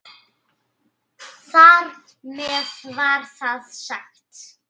Þar með var það sagt.